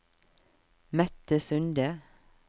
Mette Sunde